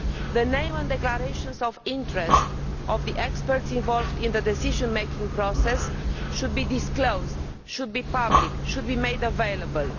The names and declarations of interests of the experts involved in the decision making process should be disclosed they should be published and made available.